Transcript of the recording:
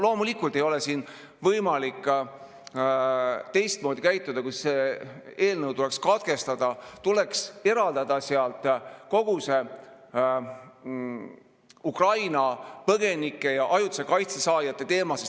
Loomulikult ei ole siin võimalik teistmoodi käituda, kui selle tuleks katkestada, tuleks eraldada sealt kogu see Ukraina põgenike ja ajutise kaitse saajate teema.